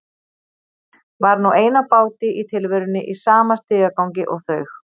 Var nú ein á báti í tilverunni í sama stigagangi og þau.